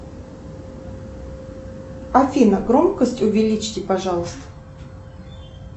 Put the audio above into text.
афина громкость увеличте пожалуйста